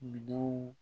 Minɛnw